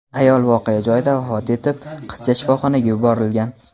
Ayol voqea joyida vafot etib, qizcha shifoxonaga yuborilgan.